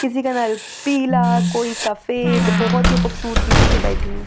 किसी का नल पिला कोई सफेद बोहोत ही खूबसूरती से ये बैठी है।